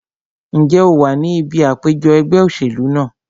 Ǹjẹ́ o wà ní ibi àpèjọ ẹgbẹ́ òṣèlú náà?